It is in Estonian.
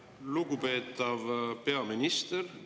Lugupeetav peaminister!